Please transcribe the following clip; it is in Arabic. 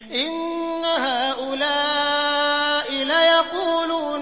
إِنَّ هَٰؤُلَاءِ لَيَقُولُونَ